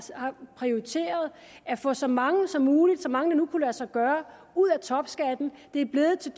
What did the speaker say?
prioriteret at få så mange som muligt så mange det nu kunne lade sig gøre ud af topskatten det er blevet til